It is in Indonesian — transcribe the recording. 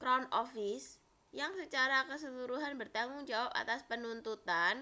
crown office yang secara keseluruhan bertanggung jawab atas penuntutan